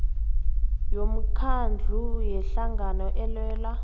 yomkhandlu yehlangano elwela